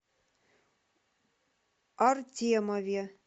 артемове